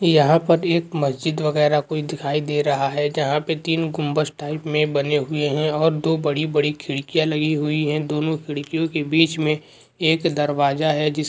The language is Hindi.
यहाँ पर एक मस्जिद बगैरा कोई दिखाई दे रहा है जहाँ पे तीन गुम्बज़ टाइप में बने हुए हैं और दो बड़ी बड़ी खिड़कियाँ लगी हुई है दोनों खिड़कियों के बीच में एक दरवाजा है जिस --